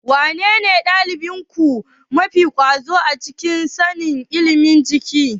Wanene ɗalibinku mafi ƙwazo a ilimin sanin jiki?